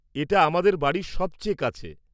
এটা আমাদের বাড়ির সবচেয়ে কাছে।